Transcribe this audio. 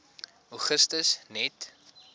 augustus net